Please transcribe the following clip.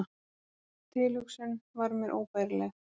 Sú tilhugsun var mér óbærileg.